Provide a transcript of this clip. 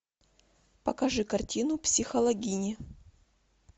покажи картину психологини